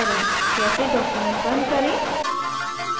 कैसे document बंद करें